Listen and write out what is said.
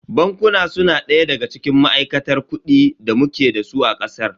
Bankuna su na daya daga cikin ma'aikatar kuɗi da muke dasu a ƙasar.